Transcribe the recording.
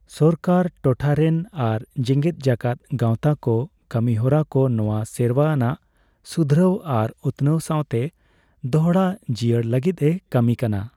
ᱥᱚᱠᱟᱨ, ᱴᱚᱴᱷᱟᱨᱮᱱ ᱟᱨ ᱡᱮᱜᱮᱫ ᱡᱟᱠᱟᱫ ᱜᱟᱣᱛᱟ ᱠᱚ ᱠᱟᱹᱢᱤ ᱦᱚᱨᱟ ᱠᱚ ᱱᱚᱣᱟ ᱥᱮᱨᱣᱟ ᱟᱱᱟᱜ ᱥᱩᱫᱷᱨᱟᱹᱣ ᱟᱨ ᱩᱛᱱᱟᱹᱣ ᱥᱟᱣᱛᱮ ᱫᱚᱲᱦᱟᱡᱤᱭᱟᱹᱲ ᱞᱟᱹᱜᱤᱫ ᱮ ᱠᱟᱹᱢᱤ ᱠᱟᱱᱟ ᱾